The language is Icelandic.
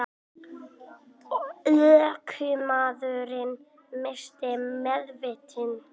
Ökumaðurinn missti meðvitund